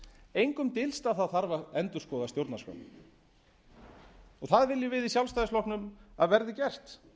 engum dylst að það þarf að endurskoða stjórnarskrána það viljum við í sjálfstæðisflokknum að verði gert